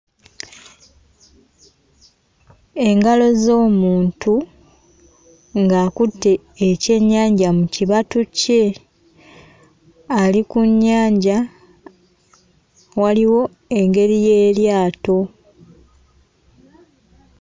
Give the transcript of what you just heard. Engalo ez'omuntu ng'akutte ekyennyanja mu kibatu kye ali ku nnyanja waliwo engeri y'eryato.